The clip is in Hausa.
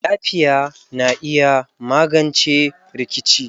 Yafiya na iya magance rikici.